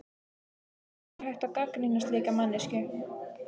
Hvernig er hægt að gagnrýna slíka manneskju?